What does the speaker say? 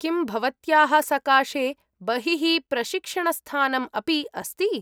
किं भवत्याः सकाशे बहिः प्रशिक्षणस्थानम् अपि अस्ति?